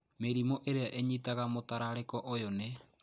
Mĩrimũ ĩrĩa ĩnyitaga mũtararĩko ũyũ nĩ: